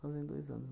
Fazem dois anos.